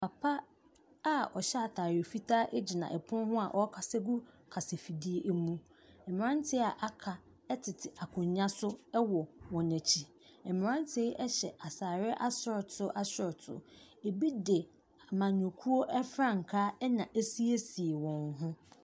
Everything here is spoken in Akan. Papa a ɔhyɛ atar fitaa ɛgyina ɛpono ho a ɔrekasa gu ɔkasa fidie ɛmu. Mmranteɛ a aka ɛtete akonnwa so ɛwɔ wɔn akyi. Mmranteɛ yi ɛhyɛ ataareɛ asorɔto asorɔto. Ebi de amanyɔkuo ɛfrankaa na asiesie wɔn ho.